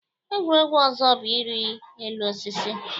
Egwuregwu ọzọ bụ irị elu osisi.